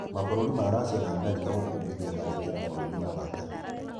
Mabũrũri ma Racia na Amerika gũkũmithia tharĩkiro bũrũri-inĩ wa Takĩ